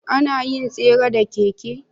Anayin tsere da keke